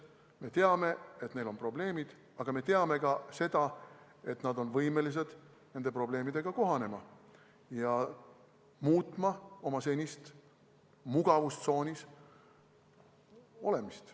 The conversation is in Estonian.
Me teame, et neil on probleemid, aga me teame ka seda, et nad on võimelised nende probleemidega kohanema ja muutma oma senist mugavustsoonis olemist.